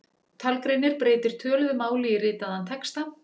Talgreinir breytir töluðu máli í ritaðan texta.